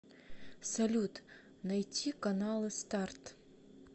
салют найти каналы старт